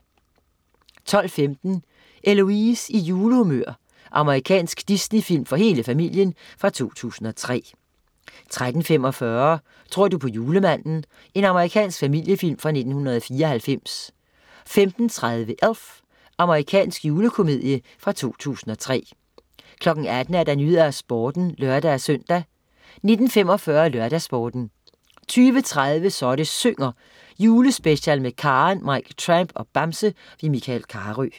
12.15 Eloise i julehumør. Amerikansk Disney-film for hele familien fra 2003 13.45 Tror du på julemanden? Amerikansk familiefilm fra 1994 15.30 Elf. Amerikansk julekomedie fra 2003 18.00 Nyhederne og Sporten (lør-søn) 19.45 LørdagsSporten 20.30 Så det synger, julespecial med Karen, Mike Tramp og Bamse. Michael Carøe